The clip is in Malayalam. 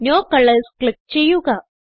നോ കളർസ് ക്ലിക്ക് ചെയ്യുക